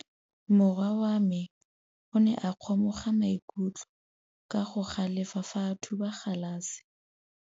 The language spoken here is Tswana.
Morwa wa me o ne a kgomoga maikutlo ka go galefa fa a thuba galase.